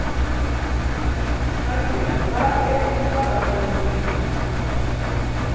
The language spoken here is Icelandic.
Karlína, hvað er í dagatalinu mínu í dag?